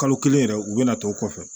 Kalo kelen yɛrɛ u bɛna to kɔfɛ